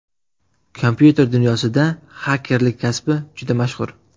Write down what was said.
Kompyuter dunyosida xakerlik kasbi juda mashhur.